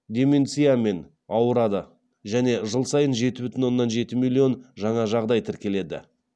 деменциямен ауырады және жыл сайын жеті бүтін оннан жеті миллион жаңа жағдай тіркеледі